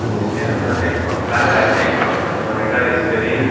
जिसके अंदर एक पंखा है एक मॉनिटर स्क्रीन है।